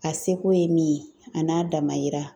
A seko ye min ye; a n'a damayira.